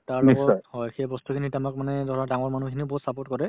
তাৰ হয়, সেই বস্তুখিনি এতিয়া আমাক মানে ধৰা ডাঙৰ মানুহখিনিও বহুত support কৰে